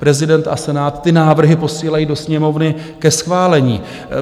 Prezident a Senát ty návrhy posílají do Sněmovny ke schválení.